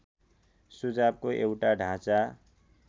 सुझावको एउटा ढाँचा